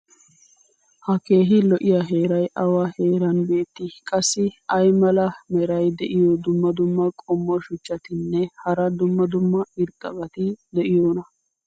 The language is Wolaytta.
ha keehi lo'iya heeray awa heeran beetii? qassi ayi mala meray diyo dumma dumma qommo shuchchatinne hara dumma dumma irxxabati de'iyoonaa?